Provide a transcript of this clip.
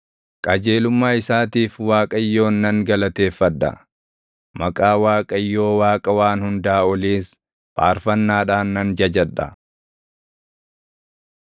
Qajeelummaa isaatiif Waaqayyoon nan galateeffadha; maqaa Waaqayyoo Waaqa Waan Hundaa Oliis faarfannaadhaan nan jajadha.